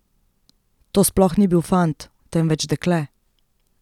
To sploh ni bil fant, temveč dekle.